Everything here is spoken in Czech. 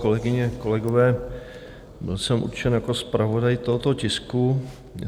Kolegyně, kolegové, byl jsem určen jako zpravodaj tohoto tisku.